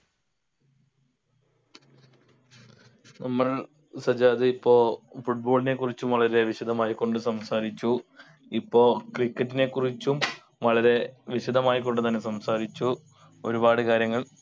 നമ്മൾ സജ്ജാദ് ഇപ്പോ football നെ കുറിച്ചും വളരെ വിശദമായി കൊണ്ട് സംസാരിച്ചു ഇപ്പോ cricket നെ കുറിച്ചും വളരെ വിശദമായി കൊണ്ട് തന്നെ സംസാരിച്ചു ഒരുപാട് കാര്യങ്ങൾ